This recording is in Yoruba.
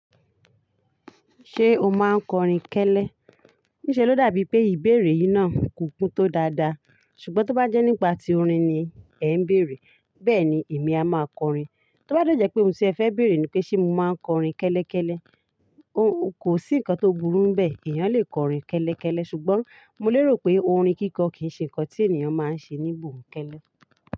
Ṣé o máa ń kọrin kẹ́lẹ́? Níṣe ló dàbí pé ìbéèrè yìí náà kò kún tó dáadáa, ṣùgbọ́n tó bá jẹ́ nípa ti orin ni ẹ ń béèrè, bẹ́ẹ̀ni èmi a máa kọrin. Tó bá de jẹ́ pé ohun tí ẹ fẹ́ bèrè ni pé ṣé mo máa ń kọrin kẹ́lẹ́ kẹ́lẹ́, kò sí nǹkan tó burú n bẹ́ẹ̀, ènìyàn lè kọrin kẹ́lẹ́ kẹ́lẹ́. Ṣùgbọ́n mo lérò pé orin kíkọ kì í ṣe ǹkan tí ènìyàn máa ń ṣe ní gbòǹkẹ́lẹ́.